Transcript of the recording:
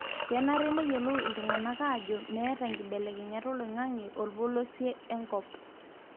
kenare neyiolou iltungana ajo meeta enkibelekenyata oloingange olpolosie enkop.